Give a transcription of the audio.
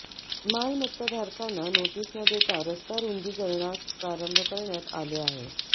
मालमत्ताधारकांना notice न देता रस्ता रूंदीकरणास प्रारंभ करण्यात आले आहे